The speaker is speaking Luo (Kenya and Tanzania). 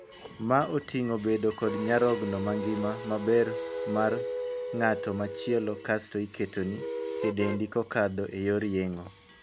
Ma oting'o bedo kod nyarogno mangima maber mar ng'at machielo kasto iketoni e dendi kokadho e yor yeng'o.